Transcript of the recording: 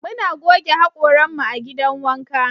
Muna goge hakoran mu a'gidan wanka.